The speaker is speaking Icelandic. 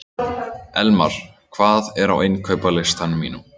Elmar, hvað er á innkaupalistanum mínum?